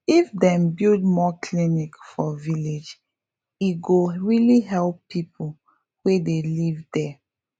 if dem build more clinic for village e go really help people wey dey live there